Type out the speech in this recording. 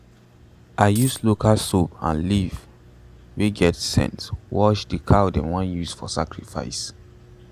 i use local soap and leaves wey get scent take wash the cow dem wan use for sacrifice.